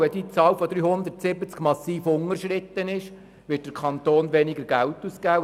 Sollte die Zahl von 370 massiv unterschritten werden, wird der Kanton weniger Geld ausgeben.